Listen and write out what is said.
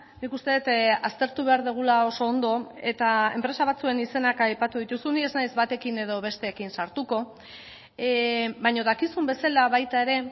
nik uste dut aztertu behar dugula oso ondo eta enpresa batzuen izenak aipatu dituzun ni ez naiz batekin edo besteekin sartuko baina dakizun bezala baita ere